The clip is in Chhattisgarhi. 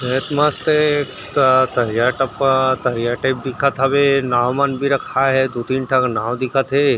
ये तो मस्त ए त तरिया तक ह करिया टाइप दिखत हवे नाव मनभी रखाये हे दू तीन ठक नाव भी दिखत हे।